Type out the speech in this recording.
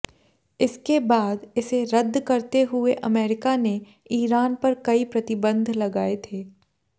इसके बाद इसे रद्द करते हुए अमेरिका ने ईरान पर कई प्रतिबंध लगाए थे